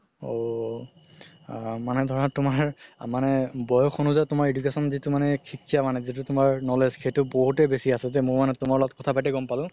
ঔ আ মানে ধৰা তুমাৰ মানে বয়স অনোজাই তুমাৰ education যিতো মানে শিক্ষা মানে যিতো তুমাৰ knowledge সেইটো বহুতে বেচি আছে মও মানে তুমাৰ লগত কথাপাতি গ'ম পালো